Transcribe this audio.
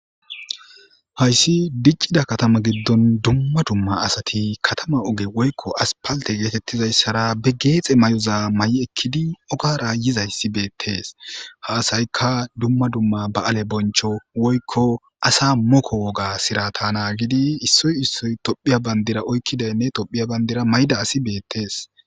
hayssi diccida katama giddon dumma dumma asati katama oge woykko aspalte geetettizayssara be geexe may7oza may7i ekkidi okara yizayssi beettees ha asaykka dumma dumma ba7ale boncho woykko asa moko woga sira ta naagidi issoy issoy tophiya bandira oykkidaynne tophiya bandira mayda asi beettees